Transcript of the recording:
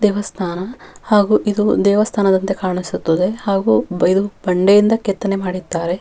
ಈ ಚಿತ್ರದಲ್ಲಿ ಒಂದು ದೇವಸ್ತಾನ ಹಳೆಯ ಹಳೆಯ ಪುರಾತನ ಕಾಲದ --